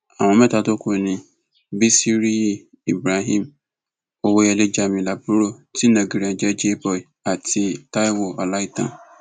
àwọn mẹta tó kù ní bisiriyi ibrahim owóyẹlé jamiu laburo tí ìnagijẹ rẹ ń jẹ jay boy àti taiwo ọláìtàn